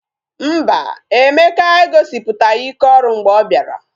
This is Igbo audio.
Mba, Emeka egosipụtaghị ike ọrụ mgbe ọ bịara